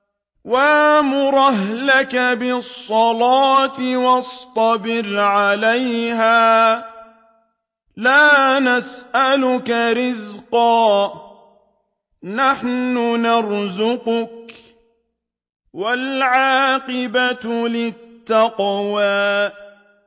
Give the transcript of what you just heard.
وَأْمُرْ أَهْلَكَ بِالصَّلَاةِ وَاصْطَبِرْ عَلَيْهَا ۖ لَا نَسْأَلُكَ رِزْقًا ۖ نَّحْنُ نَرْزُقُكَ ۗ وَالْعَاقِبَةُ لِلتَّقْوَىٰ